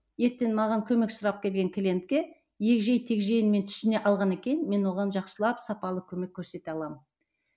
ертең маған көмек сұрап келген клиентке егжей тегжейін мен түсіне алғаннан кейін мен оған жақсылап сапалы көмек көрсете аламын